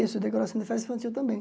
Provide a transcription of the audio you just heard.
Isso, decoração de festa infantil também.